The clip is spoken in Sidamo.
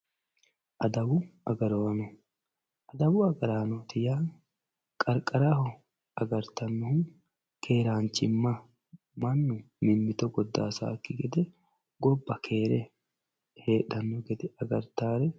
Adawu agarano adawu agaranoti ya qariqaraho agaritano keranchima mannu mimitto godasaki gede gobba keere hedhano gedde agaritari